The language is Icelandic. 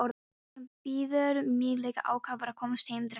Hann bíður mín líka ákafur að komast heim drengurinn!